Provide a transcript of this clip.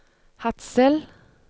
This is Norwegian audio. Hadsel